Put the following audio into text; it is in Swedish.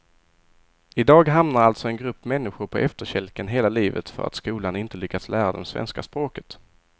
I dag hamnar alltså en grupp människor på efterkälken hela livet för att skolan inte lyckats lära dem svenska språket.